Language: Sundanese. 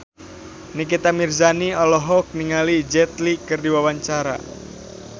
Nikita Mirzani olohok ningali Jet Li keur diwawancara